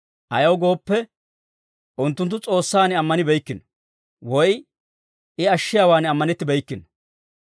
Ayaw gooppe, unttunttu S'oossan ammanibeykkino; woy I ashshiyaawaan ammanettibeykkino.